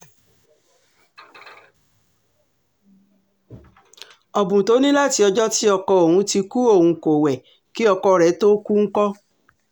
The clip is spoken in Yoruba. ọdún tó ní láti ọjọ́ tí ọkọ òun ti kú òun kò wẹ̀ kí ọkọ rẹ̀ tóó kú ńkọ́